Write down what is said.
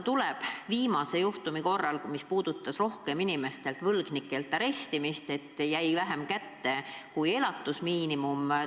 Oli üks juhtum, mis puudutas võlgnike vara arestimist nii, et inimesele jäi kätte vähem kui elatusmiinimum.